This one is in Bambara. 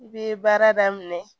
I bɛ baara daminɛ